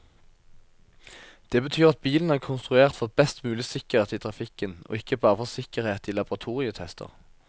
Det betyr at bilen er konstruert for best mulig sikkerhet i trafikken, og ikke bare for sikkerhet i laboratorietester.